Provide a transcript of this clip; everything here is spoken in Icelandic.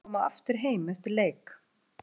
Mun hann koma aftur heim eftir leik?